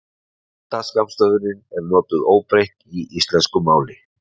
Útlenda skammstöfunin er notuð óbreytt í íslensku máli.